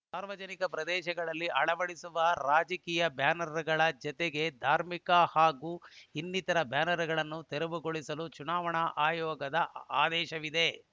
ಸಾರ್ವಜನಿಕ ಪ್ರದೇಶಗಳಲ್ಲಿ ಅಳವಡಿಸುವ ರಾಜಕೀಯ ಬ್ಯಾನರ್ ಗಳ ಜತೆಗೆ ಧಾರ್ಮಿಕ ಹಾಗೂ ಇನ್ನಿತರ ಬ್ಯಾನರ್ ಗಳನ್ನು ತೆರವುಗೊಳಿಸಲು ಚುನಾವಣಾ ಆಯೋಗದ ಆದೇಶವಿದೆ